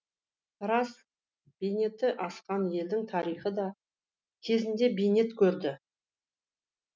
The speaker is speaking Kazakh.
рас бейнеті асқан елдің тарихы да кезінде бейнет көрді